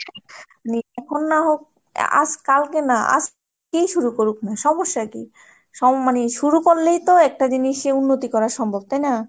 না হোক আজ কালকে না আজই শুরু করুক না সমস্যা কি? মানে শুরু করলেই তো একটা জিনিসে উন্নতি করা সম্ভব তাই না?